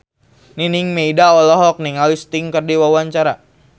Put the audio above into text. Nining Meida olohok ningali Sting keur diwawancara